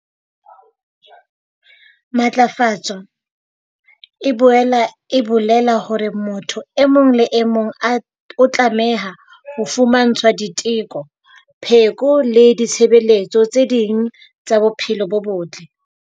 Matlafatso e boela e bolela hore motho e mong le e mong a, o tlameha ho fumantshwa diteko, pheko le ditshebeletso tse ding tsa bophelo bo botle.